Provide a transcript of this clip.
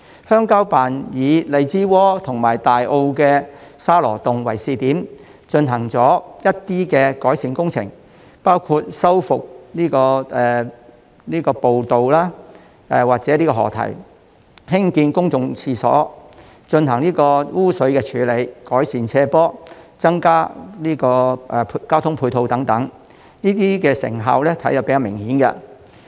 鄉郊辦以荔枝窩和大埔的沙螺洞為試點，進行了一些改善工程，包括修復步道及河堤、興建公共廁所、進行污水處理、改善斜坡、增加交通配套等，這些成效比較明顯。